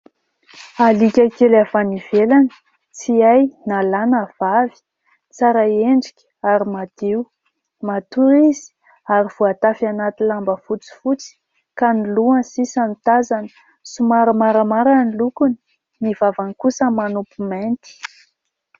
Aliaka kely avy any ivelany tsy hay na lahy na vavy. Tsara endrika ary madio. Matory izy ary voatafy anaty lamba fotsifotsy ka ny lohany sisa no tazana. Somary maramara ny lokony, ny vavany kosa manopy mainty.